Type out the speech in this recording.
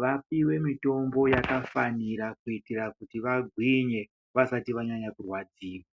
vapiwe mitombo yakafanira kuitira kuti vagwinye vasati vanyanya kurwadziwa.